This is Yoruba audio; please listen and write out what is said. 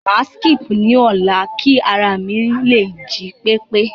Màá síkípù ni ọ̀lá kí ara mi lè jí pépé.